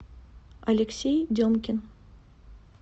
алексей демкин